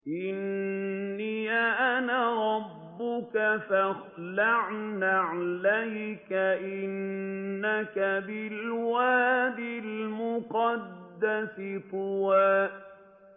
إِنِّي أَنَا رَبُّكَ فَاخْلَعْ نَعْلَيْكَ ۖ إِنَّكَ بِالْوَادِ الْمُقَدَّسِ طُوًى